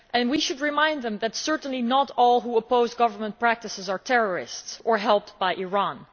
We should remind them that certainly not all who oppose government practices are terrorists or helped by Iran.